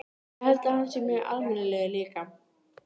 Ég held að hann sé mjög almennilegur líka.